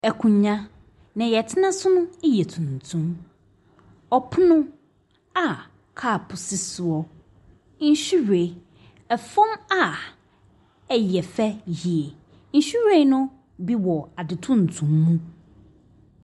Akonnwa, nea wɔtena so no yɛ tuntum. Ɔpono a cup si soɔ. Nhwiren, fam a ɛyɛ fɛ yie. Nhwiren no bi wɔ ade tuntum mu.